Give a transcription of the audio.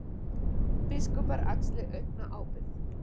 Biskupar axli aukna ábyrgð